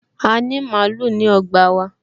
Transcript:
A ní màálù ní ọgbà wa